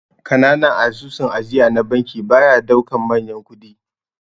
Kananan asusun ajiya na banki baya daukan manyan kudi.